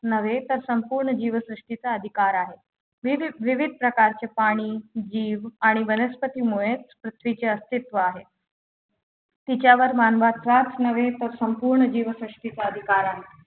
नव्हे तर संपूर्ण जीवसृष्टीचा अधिकार आहे विविध विविध प्रकारचे पाणी जीव आणि वनस्पती मुळेच पृथ्वीचे अस्तित्व आहे तिच्यावर मानवाचाच नव्हे तर संपूर्ण जीवसृष्टीचा अधिकार आहे